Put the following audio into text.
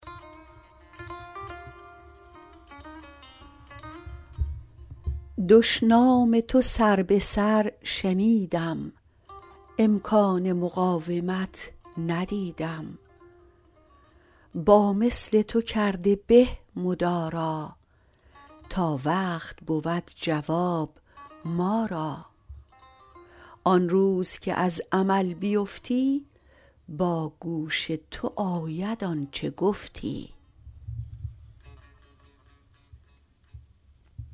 دشنام تو سر به سر شنیدم امکان مقاومت ندیدم با مثل تو کرده به مدارا تا وقت بود جواب ما را آن روز که از عمل بیفتی با گوش تو آید آنچه گفتی